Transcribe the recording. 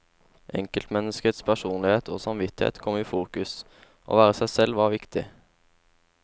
Enkeltmenneskets personlighet og samvittighet kom i fokus, å være seg selv var viktig.